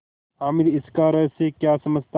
हामिद इसका रहस्य क्या समझता